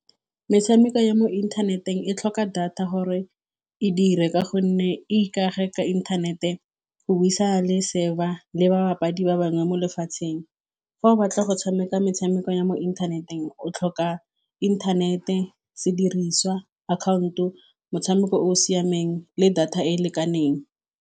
Metshameko ya mo inthaneteng e tlhoka data gore e dire, ka gonne e ikage ka inthanete go buisana le server le ba bapadi ba bangwe mo lefatsheng. Fa o batla go tshameka metshameko ya mo inthaneteng, o tlhoka inthanete, sediriswa, account-o, motshameko o o siameng le data e e lekaneng.